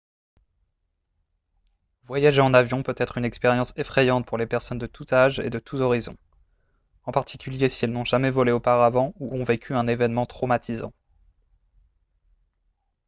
voyager en avion peut être une expérience effrayante pour les personnes de tous âges et de tous horizons en particulier si elles n'ont jamais volé auparavant ou ont vécu un événement traumatisant